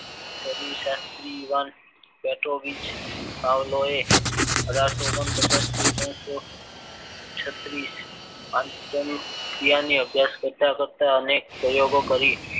પ્રદી શાસ્ત્રી Ivan Petrovich પાવલવે અભ્યાસ કરતા કરતા અનેક પ્રયોગો કરી